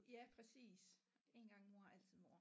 Ja præcis en gang mor altid mor